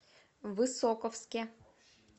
высоковске